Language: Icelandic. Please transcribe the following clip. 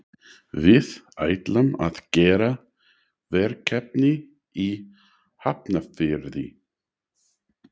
Við ætlum að gera verkefni í Hafnarfirði.